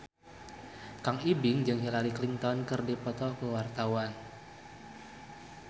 Kang Ibing jeung Hillary Clinton keur dipoto ku wartawan